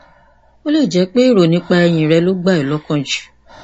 ó lè jẹ pé èrò nípa ẹyìn rẹ ló gbà ẹ lọkàn jù